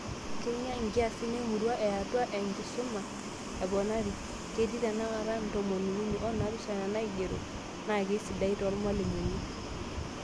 Kegia nkiasin emurua eatua nkisu aaponari, ketii tenakata ntomoni uni onaapishana naigero, naakesidai toormalimuni